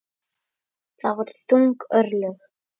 Það voru þung örlög.